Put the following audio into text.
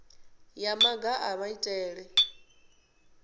ya nga maga a maitele